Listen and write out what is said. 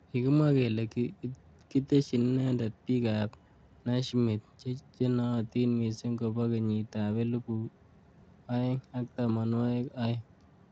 Kikimwa kele kiteshin inendet bik ab Naismith chenootin missing kobo kenyit ab elibu aeng ak tamanwakik aeng.